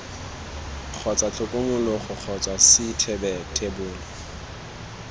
kgotsa tlhokomologo kgotsa c thebolo